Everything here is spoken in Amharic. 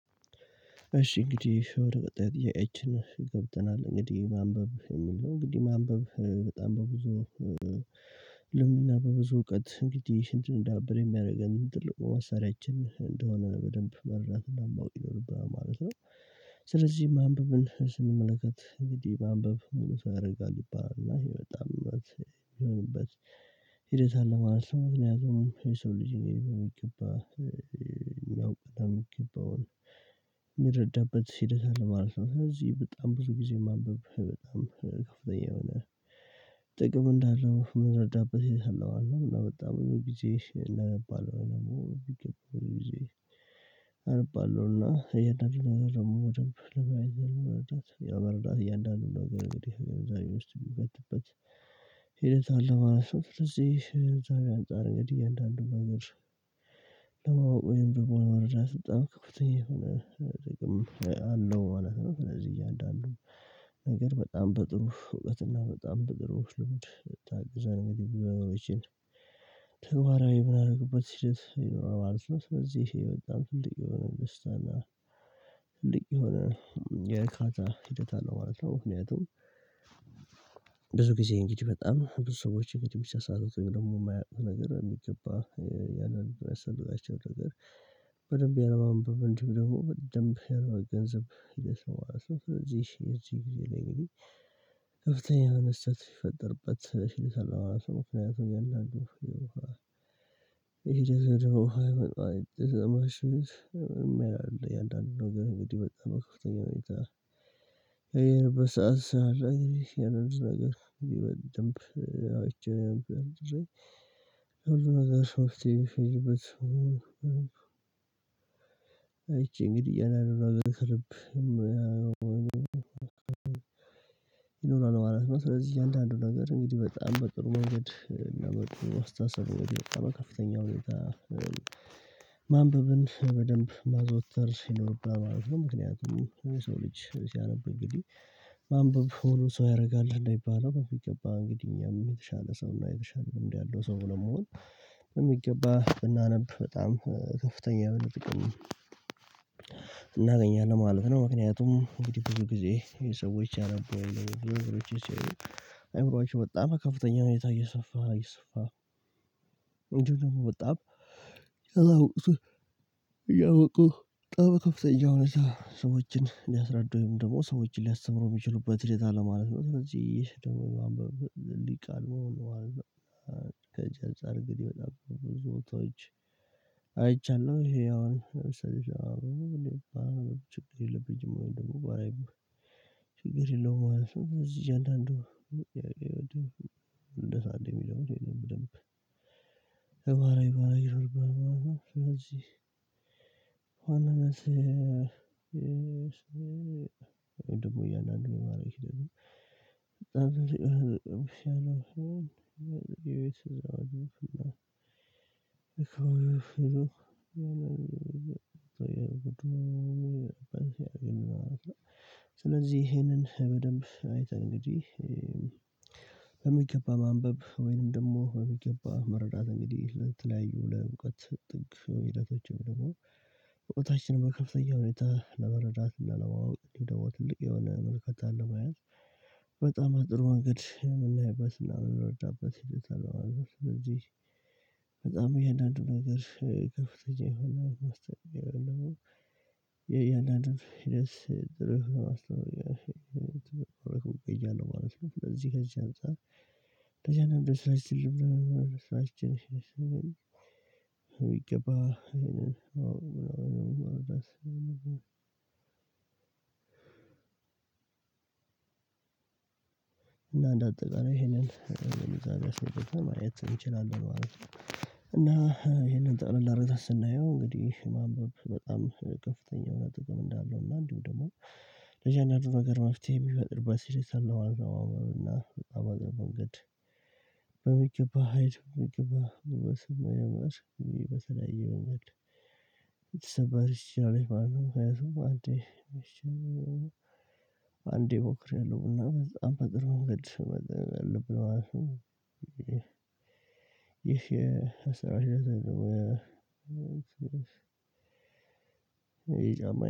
እሺ እንግዲህ ወደ ቀጣይ ጥያቄያችን ገብተናል እንግዲህ ማንበብ የሚል ነው። እንግዲህ ማንበብ በጣም በብዙ ልምድና በብዙ እውቀት እንግዲህ እንድንዳብር የሚያደርገን ትልቁ መሳሪያችን እንደሆነ በደንብ መርዳት እና ማውቅ ይኖርብናል ማለት ነው። ስለዚህ ማንበብን ስንመለከት እንግዲህ ማንበብ ሙሉ ሰው ያደርጋል ይባላል ይሄ በጣም ነው የሚሆንበት ሂደት አለ ማለት ነው። ምክንያቱም የሰው ልጅ በሚገባ የሚያውቅና የሚገባውን የሚረዳበት ሂደት አለው ማለት ነው። ስለዚህ በጣም ብዙ ጊዜ ማንበብ በጣም ከፍተኛ የሆነ ጥቅም እንዳለው የምረዳበት ይሄ ነው አለው። እና ብዙ ጊዜ እናነባለን ወይም ደግሞ በሚገባ ብዙ ጊዜ አነባለሁና እያንዳንዱን ነገር ደግሞ በደንብ ለማየት ወይም ለመረዳት እያንዳንዱን ነገር እንግዲህ ግንዛቤ ውስጥ የሚከትበት ሂደት አለ ማለት ነው። ስለዚህ ከግንዛቤ አንፃር እንግዲህ እያንዳንዱን ነገር ለማወቅ ወይም ደግሞ ለመረዳት በጣም ከፍተኛ የሆነ ጥቅም አለው ማለት ነው። ስለዚህ እያንዳንዱን ነገር በጣም በጥሩ እውቀትና በጣም በጥሩ ልምድ ታግዘን እንግዲህ ብዙ ነገሮችን ተግባራዊ ምናደረግበት ሂደት ይኖራል ማለት ነው። ስለዚህ ይሄ በጣም ትልቅ የሆነ ደስታ እና ትልቅ የሆነ የእርካታ ሂደት አለው ማለት ነው። ምክንያቱም ብዙ ጊዜ እንግዲህ በጣም ብዙ ሰዎች እንግዲህ የሚሳሳቱት ወይም ደግሞ የማያውቁት ነገር በሚገባ ያንን የሚያስተምራቸውን ነገር በደንብ ያለማንበብ እንዲሁም ደግሞ በደንብ ያለመገንዘብ ሂደት ነው ማለት ነው። ስለዚህ የእዚህ ጊዜ ላይ እንግዲህ ከፍተኛ የሆነ ስህተት ሲፈጠርበት ስለሚሠራው ምክንያቱም እያንዳንዱ የውሃ ሂደት ወደ ውሃ ያመጣዋል ማሽንስ የማይረባ ለእያንዳንዱ ነገር እንግዲህ በጣም በከፍተኛ ሁኔታ የሚታየውን እንግዲህ ሰዓት ላይ ያንን ነገር በደንብ አይቻልም ብለን ሁሉንም አይቼ እንግዲህ ያንን ነገር ከልብ ይኖራል ማለት ነው። ስለዚህ እያንዳንዱ ነገር እንግዲህ በጣም በጥሩ መንገድ እና መጥፎ አስተሳሰብ እንግዲህ በከፍተኛ ሁኔታ ማንበብን በደንብ ማዘወተር ይኖርብናል ማለት ነው። ምክንያቱም የሰው ልጅ ሲያነብ እንግዲህ ማንበብ ሙሉ ሰው ያደርጋል እንደሚባለው የሚገባ እንግዲህ እኛም የተሻለ ሰው እና የተሻለ ልምድ ያለው ሰው ለመሆን በሚገባ ብናነብ በጣም ከፍተኛ የሆነ ጥቅም እናገኛለን ማለት ነው። ምክንያቱም እንግዲህ ብዙ ጊዜ የሰዎች ያነበቡ ሲሆኑ አይምሮአቸው በጣም ከፍተኛ ሁኔታ እየሰፋ እየሰፋ አንዳንድ ደግሞ በጣም ያላወቁትን እያወቁ በጣም በከፍተኛ ሁኔታ ሰዎችን ሊያስረዱም ወይም ደግሞ ሰዎችን ሊያስተምሩ የሚችሉበት ሂደት አለ ማለት ነው። ስለዚህ ደግሞ ማንበብ ሊሂቃን መሆን ማለት ነው። ከእጅ አንፃር እንግዲህ በጣም ብዙ ቦታዎች አይቻለው ይሄ አሁን ለምሳሌ አሁን ችግር የለብኝም ወይም ደግሞ ባላይም ችግር የለውም። ስለዚህ እያንዳንዱ እንደዛ እንድ ሚለዮን በደንብ ተግባራዊ ማድረግ ይኖርብናል ማለት ነው። ስለዚህ በዋናነት የሰው ወይም ደግሞ እያንዳንዱ ምን ማድረግ ይችላል የሚለው ሂደት ነው። በጣም ብዙ ጊዜ ነው የቤት እዛው አለው እኮ ይዞት የቡድኑ በሲያግና ማለት ነው። ስለዚህ ይሄንን በደንብ አይተን እንግዲህ በሚገባ ማንበብ ወይንም ደግሞ በሚገባ መረዳት እንግዲህ ለተለያዩ ለእውቀት ጥግ ሂደቶችም ደግሞ በቦታችን በከፍተኛ ሁኔታ ለመረዳት እና ለማወቅ ወይም ደግሞ ትልቅ የሆነ ትልቅ የሆነ መልከታ አለመያዝ በጣም በጥሩ መንገድ የምናይበት ምናምን የምንረዳበት ሂደት አለ ማለት ነው። ስለዚህ እያንዳንዱ ነገር ከፍተኛ የሆነ የያንዳንዱን ሂደት ድረስ ትርፍ ለማስተካከል ድርፍ ትርፍ ቀይ እያለሁ ማለት ነው። ለዚህ ከዚህ አንፃር ተጀነበሰችልም ራሳችን ይገባ ነው የምለው እና እንደ አጠቃላይ ይሄንን ግንዛቤ አስመጥተን ማየት እንችላለን ማለት ነው። እና ይሄንን ጠቅላላ ሁኒታ ስላለሁ ስናየው እንግዲህ ማንበብ በጣም ከፍተኛ የሆነ ጥቅም እንዳለው እና እንዲሁ ደግሞ ለእያንዳንዱ ነገር መፍትሄ የሚፈጥርበት ስሂደት አልነበረውም እና በጣም አቅም መንገድ በሚገባ ሊመስል በሚገባ በስማ ያመስግን ስላየው መንገድ ይችላል ማለት ነው። ምክንያቱም አንዴ አንዴ እሞክሬያለሁ እና በጣም በጥር መንገድ ማቅረብ አለብን ማለት ነው። ይሄ የአሰራር ሂደት ሁለት ነገር ይሄ ጫማ